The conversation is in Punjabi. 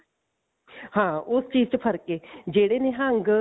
ਹਾਂ ਉਸ ਚੀਜ਼ ਚ ਫਰਕ ਹੈ ਜਿਹੜੇ ਨਿਹੰਗ